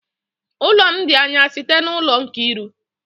Ụlọ m dị anya site n'ụlọ Nkiru